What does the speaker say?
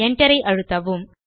Enterஐ அழுத்தவும்